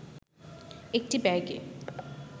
একটি ব্যাগে